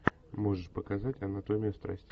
можешь показать анатомию страсти